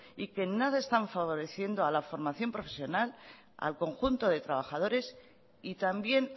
y que en nada están favoreciendo a la formación profesional al conjunto de trabajadores y también